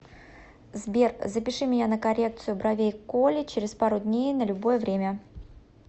сбер запиши меня на коррекцию бровей к оле через пару дней на любое время